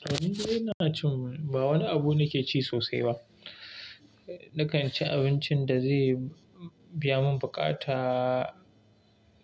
To indai ina cin ba wani abu ne ke ci sosai ba. Nakan ci abincin da zai biya mun buƙata,